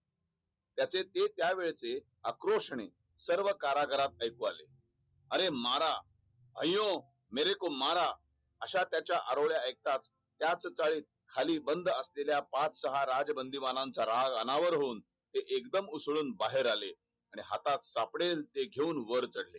अयो मरको मारा अश्या त्याचे आरोळे आयकवत खाली बंद असलेल्या पाच सहा राजबंधूमान राग अनावर होनू. आणि ते एकदम उसले बाहेर आले आणि ‍हातात सापडेल ते घेऊन वर चढले